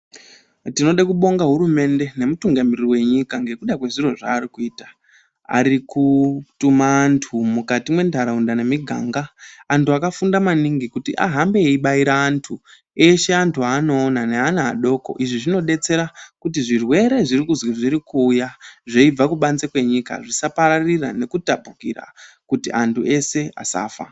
Tinoda kubonga hurumende, nomutungamiriri wenyika ngekuda kwezviro zvaari kuita. Ari kutuma anthu mukati mwentharaunda nemiganga. Anthu akafunda maningi kuti ahambe eibaira anthu, eshe anthu eanoona, neana adoko. Izvi zvinodetsera kuti zvirwere zviri kuzwi zviri kuuya zveibva kubanze kwenyika zvisapararira nekutapukira kuti anthu eshe asafa.